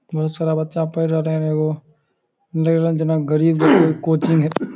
बहुत सारा बच्चा पेढ़ रहलेन एगो लाग रहले जना गरीब के कोचिंग --